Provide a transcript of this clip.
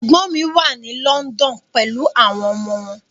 Ẹ̀gbọ́n mi wà ní London pelu àwọn ọmọ wọn.